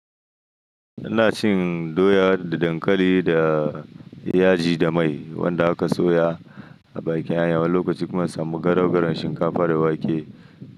Ina cin doya da dankali da yaji da mai wanda aka soya a bakin hanya, wani lokaci kuma in samu garaugaraun shinkafa da wake.